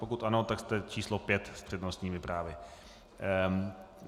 Pokud ano, tak jste číslo pět s přednostními právy.